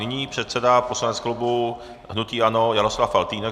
Nyní předseda poslanec klubu hnutí ANO Jaroslav Faltýnek.